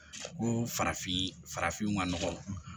Ko farafin farafinw ka nɔgɔn